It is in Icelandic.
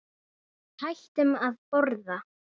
Hann brosti líka.